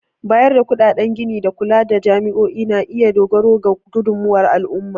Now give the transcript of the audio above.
Bayar da kuɗaɗen gini da kula da majami'u na iya dogara ga gudummawar al'umma.